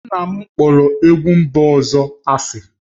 Nna m kpọrọ egwu mba ọzọ asị